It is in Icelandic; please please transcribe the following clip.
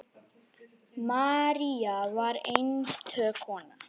María var einstök kona.